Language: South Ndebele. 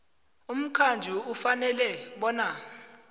umqhatjhi ufanele bona